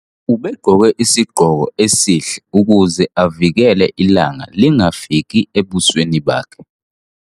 ubegqoke isigqoko esihle ukuze avikele ilanga lingafiki ebusweni bakhe